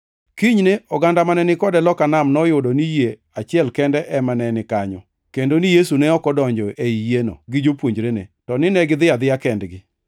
Kinyne, oganda mane ni kode loka nam noyudo ni yie achiel kende ema ne ni kanyo, kendo ni Yesu ne ok odonjo ei yieno gi jopuonjrene, to ni negidhi adhiya kendgi.